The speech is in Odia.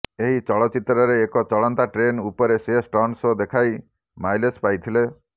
ଏହି ଚଳଚ୍ଚିତ୍ରରେ ଏକ ଚଳନ୍ତା ଟ୍ରେନ ଉପରେ ସେ ଷ୍ଟଣ୍ଟ ସୋ ଦେଖାଇ ମାଇଲେଜ ପାଇଥିଲେ